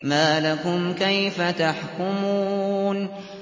مَا لَكُمْ كَيْفَ تَحْكُمُونَ